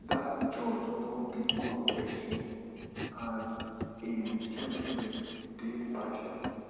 dat judge no be good person and im judgement dey partial